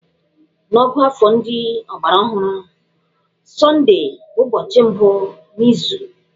N'ọ̀gụ́àfọ̀ ndị ọgbaraọhụrụ, Sọndee bụ ụbọchị mbụ n'izu.